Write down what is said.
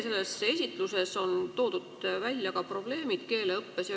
Teie esitluses on toodud välja ka probleemid keeleõppes.